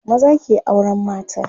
maza ke auran mata